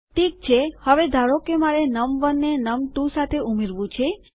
ઠીક છે હવે ધારો કે મારે નમ1 ને નમ2 સાથે ઉમેરવું છે